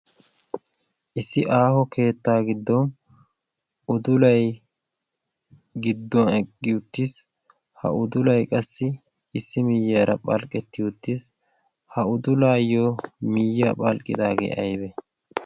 issi aaho keetta giddon udulay giddo eqqi uttiis. ha udulay qassi issi baggara phalqqetti uttiis. ha udulayyo miyyiyaara phalqqidaage aybba?